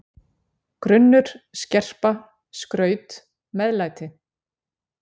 grunnur, skerpa, skraut, meðlæti.